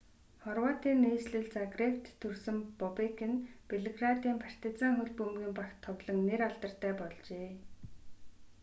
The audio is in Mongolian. хорватын нийслэл загребт төрсөн бобек нь белградын партизан хөл бөмбөгийн багт тоглон нэр алдартай болжээ